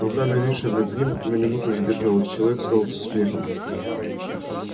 рука нависшая над ним на минуту задержалась и человек сказал со смехом